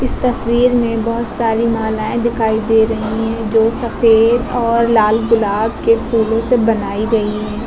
इस तस्वीर में बहुत सारी मालाएं दिखाई दे रही हैं जो सफेद और लाल गुलाब के फूलों से बनाई गई हैं।